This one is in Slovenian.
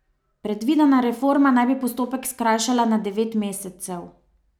Predvidena reforma naj bi postopek skrajšala na devet mesecev.